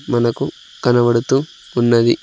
మనకు కనబడుతూ ఉన్నది.